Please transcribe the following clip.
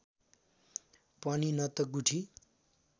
पनि न त गुठी